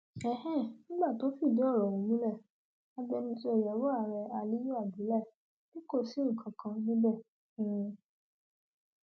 um nígbà tó ń fìdí ọrọ ọhún múlẹ agbẹnusọ ìyàwó ààrẹ aliyu abdullahi ni kò sí nǹkan kan níbẹ um